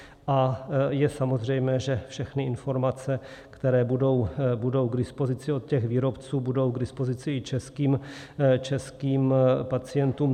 A je samozřejmé, že všechny informace, které budou k dispozici od těch výrobců, budou k dispozici i českým pacientům.